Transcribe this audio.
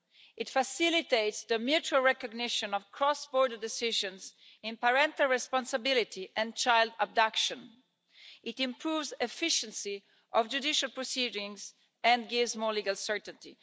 It facilitates the mutual recognition of cross-border decisions in parental responsibility and child abduction. It improves the efficiency of judicial proceedings and gives more legal certainty.